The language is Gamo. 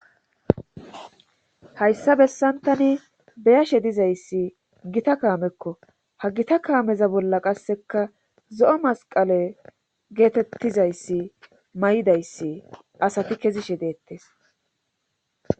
hayssa bessantani beyashe dizayssi gita kaamekko ha gita kaameza bolla qasseka zo7o masqale geetettizayssi may7idayssi asati kezishe deettes